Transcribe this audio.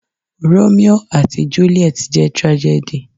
Romio àti juliet jẹ́ tragedy.